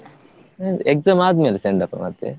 ನಿಂದು exam ಆದ್ಮೇಲೆ send off ಆ ಮತ್ತೆ?